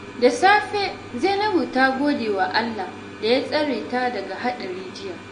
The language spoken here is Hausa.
Da safe, Zainabu ta gode wa Allah da ya tsare ta daga haɗari jiya.